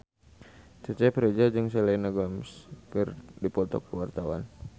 Cecep Reza jeung Selena Gomez keur dipoto ku wartawan